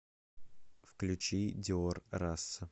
включи диор раса